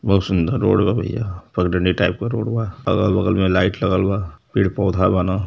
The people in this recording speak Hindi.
बहोत सुंदर रोड बा भैया। पगडंडी टाइप क रोड बा। अगल-बगल में लाइट लगल बा। पेड़-पौधा बान।